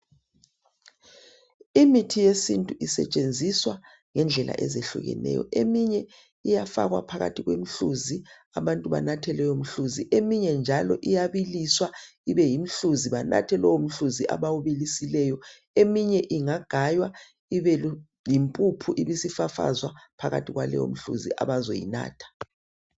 Imithi yesintu isetshenziswa ngendlela ezehlukeneyo. Eminye iyafakwa phakathi kwemhluzi, abantu banathe leyo mhluzi. Eminye njalo iyabiliswa ibe yimhluzi, banathe njalo lowo mhluzi abawubilisileyo. Eminye ingagwaywa ibe yimpuphu ibisifafazwa phakathi kwaleyo mhluzi abazoyinatha.